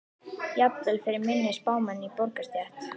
Jafnvel fyrir minni spámenn í borgarastétt.